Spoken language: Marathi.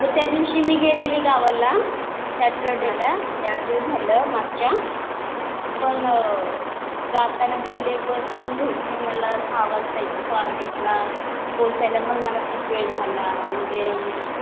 अगं त्या दिवशी मी गेलेली गावाला. सॅटर्डेला चार दिवस झालं मागच्या पण जाताना गेले बस पण भेटली मला दहा वाजता स्वारगेटला. पोचायला पण मला खूप वेळ झाला म्हणजे